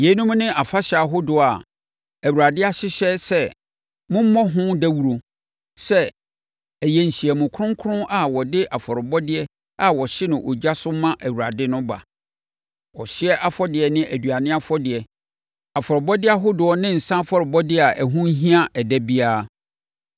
“ ‘Yeinom ne afahyɛ ahodoɔ a Awurade ahyehyɛ sɛ mommɔ ho dawuro sɛ ɛyɛ nhyiamu kronkron a wɔde afɔrebɔdeɛ a wɔhye no ogya so ma Awurade no ba: ɔhyeɛ afɔdeɛ ne aduane afɔdeɛ, afɔrebɔdeɛ ahodoɔ ne nsã afɔrebɔdeɛ a ɛho hia ɛda biara.